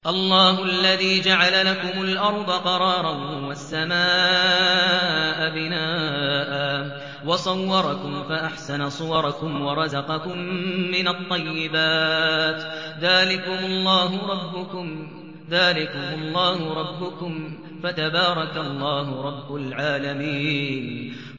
اللَّهُ الَّذِي جَعَلَ لَكُمُ الْأَرْضَ قَرَارًا وَالسَّمَاءَ بِنَاءً وَصَوَّرَكُمْ فَأَحْسَنَ صُوَرَكُمْ وَرَزَقَكُم مِّنَ الطَّيِّبَاتِ ۚ ذَٰلِكُمُ اللَّهُ رَبُّكُمْ ۖ فَتَبَارَكَ اللَّهُ رَبُّ الْعَالَمِينَ